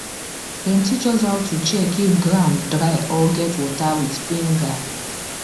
dem teach us how to check if ground dry or get water with finger